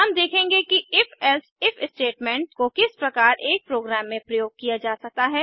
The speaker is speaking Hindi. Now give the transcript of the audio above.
हम देखेंगे कि IfElse इफ स्टेटमेंट को किस प्रकार एक प्रोग्राम में प्रयोग किया जा सकता है